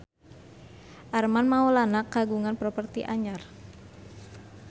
Armand Maulana kagungan properti anyar